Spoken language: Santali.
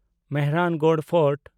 ᱢᱮᱦᱨᱟᱱᱜᱚᱲ ᱯᱷᱳᱨᱴ